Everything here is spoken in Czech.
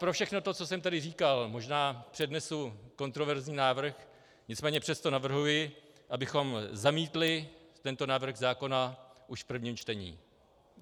Pro všechno to, co jsem tady říkal, možná přednesu kontroverzní návrh, nicméně přesto navrhuji, abychom zamítli tento návrh zákona už v prvním čtení.